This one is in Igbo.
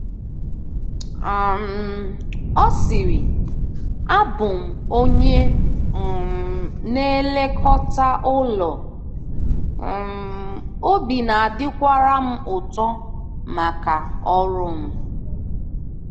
um Ọ sịrị: “Abụ m onye um na-elekọta ụlọ, um obi na-adịkwara m ụtọ maka ọrụ m.”